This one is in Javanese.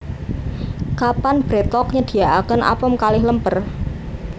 Kapan BreadTalk nyediaaken apem kalih lemper?